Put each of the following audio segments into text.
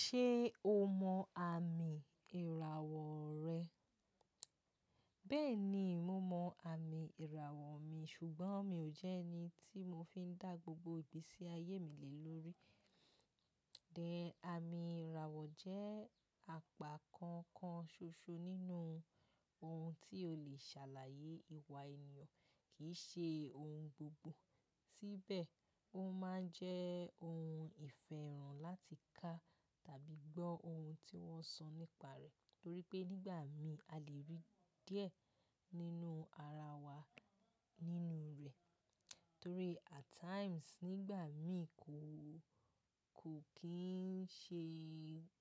Ṣé o mọ àmì ìràwọ̀ rẹ? Bẹ́ẹ̀ni, mo mọ àmì ìràwọ̀ mi, ṣùgbọ́n mi ò jẹ́ ẹni tí mo fi ń dá gbogbo ìgbésí ayé mi lè lórí. Then, àmì ìràwọ̀ jẹ́ àpá kan kan ṣoṣo nínú ohun tí ó lè ṣàlàyé ìwà ènìyàn, kì í ṣe ohun gbogbo. Síbẹ̀, ó máa ń jẹ́ ohun ìfẹ́ràn láti ká tàbí gbọ́ ohun tí wọ́n sọ nípa rẹ̀. Torí pé nígbà mìí a lè rí díẹ̀ nínú ara wa nínú rẹ̀. Torí at times nígbà mìí kò, kò kín ń ṣe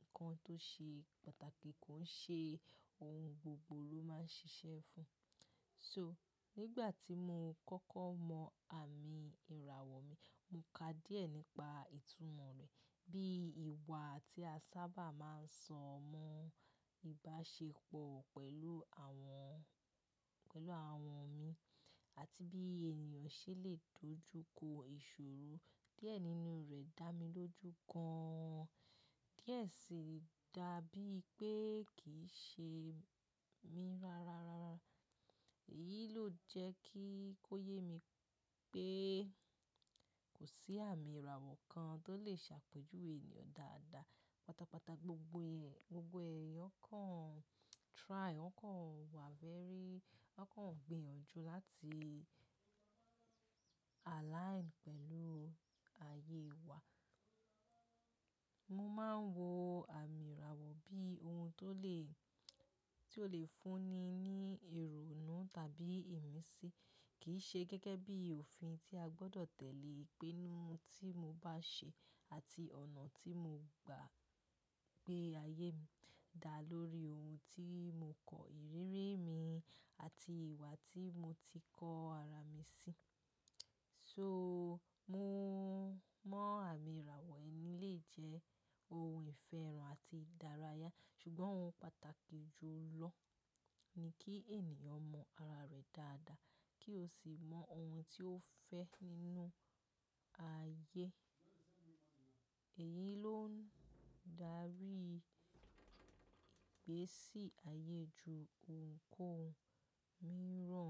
nǹkan tó ṣe pàtàkì, kò ń ṣe ohun gbogbo ló máa ń ṣiṣẹ́ fún. So, nígbà tí mo kọ́kọ́ mọ àmì ìràwọ̀ mi, mo ká díẹ̀ nípa ìtumọ̀ rẹ̀, bí ìwà tí a sábà máa ń sọ mọ́ ìbáṣepọ̀ pẹ̀lú àwọn, pẹ̀lú àwọn mii àti bí ènìyàn ṣe lè dojú kọ ìṣòro díẹ̀ nínú rẹ̀ dá mi lójú gan-an. Díẹ̀ sì dàbí pé kì í ṣe mi rárá, rárá. Èyí ló jẹ́ kí ó yé mi pé kò sí àmì ìràwọ̀ kan tó lè ṣàpèjúwe ènìyàn dáadáa. Pátápátá gbogbo ẹ̀, gbogbo ẹ̀yàn kàn try, wọ́n kàn wa very, wọ́n kàn gbìyànjú láti align pẹ̀lú ayé wa. Mo máa ń wo àmì ìràwọ̀ bí ohun tó lè, tó lè fúnni ní ìrònú tàbí ìmísí, kìi ṣe gẹ́gẹ́ bí òfin tí a gbọdọ̀ tẹ̀lé. Pínú tí mo bá ṣe àti ọ̀nà tí mo gba gbé ayé mi dá lórí ohun tí mo kọ́ ìrírí mi àti ìwà tí mo ti kọ ara mi sí. So mo mọ̀ àmì ìràwọ̀ ẹmi lè jẹ́ ohun ìfẹ́ràn àti ìdárayá, ṣùgbọ́n ohun pàtàkì jù lọ ni kí ènìyàn mọ ara rẹ̀ dáadáa kí ó sì mọ ohun tí ó fẹ́ nínú ayé. Èyí ló ń darí ìgbésí ayé ju ohunkóhun míràn lọ.